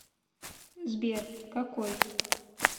сбер какой